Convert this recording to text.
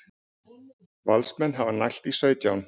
Valsmenn hafa nælt í sautján